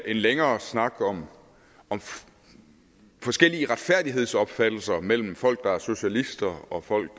en længere snak om forskellige retfærdighedsopfattelser mellem folk der er socialister og folk